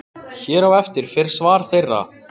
Hér á eftir fer svar þeirra.